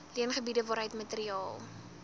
leengebiede waaruit materiaal